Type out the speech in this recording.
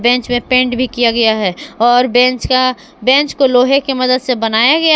bench में paint भी किया गया है और बेंच का बेंच को लोहे की मदद से बनाया गया--